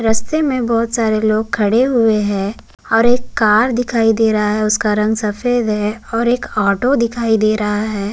रस्ते में बहोत सारे लोग खड़े हुए हैं और एक कार दिखाई दे रहा है उसका रंग सफ़ेद है और एक ऑटो दिखाई दे रहा है।